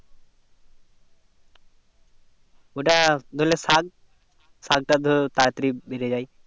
ওটা ধরলে শাক শক্ত ধর তাড়া তাড়ি বেড়ে যাই